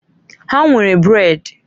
Ha nwere brèd.